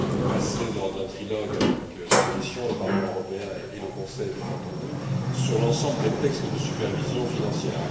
passé lors d'un trilogue avec la Commission, le Parlement européen et le Conseil, bien entendu, sur l'ensemble des textes de supervision financière.